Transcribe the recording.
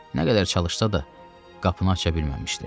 Nə qədər çalışsa da, qapını aça bilməmişdi.